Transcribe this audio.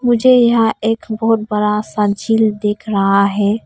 मुझे यहां एक बहुत बड़ा सा झील दिख रहा है।